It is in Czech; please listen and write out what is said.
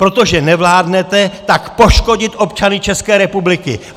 Protože nevládnete, tak poškodit občany České republiky!